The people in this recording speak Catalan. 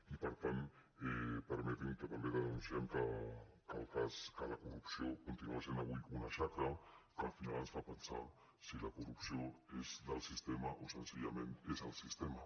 i per tant permeti’m que també denunciem que la corrupció continua sent avui una xacra que al final ens fa pensar si la corrupció és del sistema o senzillament és el sistema